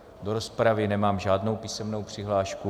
Do rozpravy nemám žádnou písemnou přihlášku.